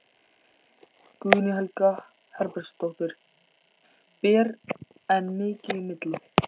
Guðný Helga Herbertsdóttir: Ber enn mikið í milli?